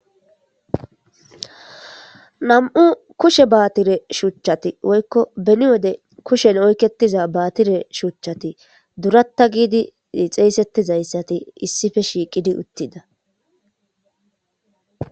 Nami'u kushe baatire shuchchati woykko beni wode kushen oykketiza baatire shuchchati durata geetettidi xeesetizayssati issippe shiiqidi uttida.